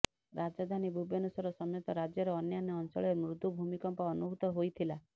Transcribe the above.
ରାଜଧାନୀ ଭୁବନେଶ୍ୱର ସମେତ ରାଜ୍ୟର ଅନ୍ୟାନ୍ୟ ଅଞ୍ଚଳରେ ମୃଦୁ ଭୂମିକମ୍ପ ଅନୁଭୁତ ହୋଇଥିଲା